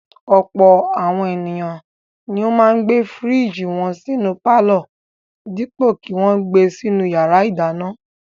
Ọ̀pọ̀ àwọn ènìyàn ni ó máa ń gbé fíríjì wọn sínú pálọ̀ dípò kí wọn gbe sínú ìyàrá-ìdáná.